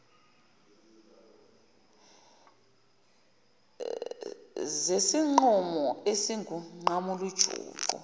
zesinqumo esingunqamula juqu